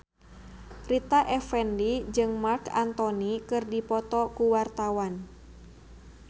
Rita Effendy jeung Marc Anthony keur dipoto ku wartawan